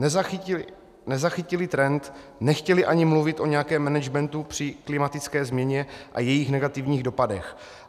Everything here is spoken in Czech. Nezachytili trend, nechtěli ani mluvit o nějakém managementu při klimatické změně a jejich negativních dopadech.